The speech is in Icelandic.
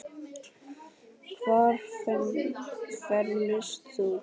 Hvar fermist þú?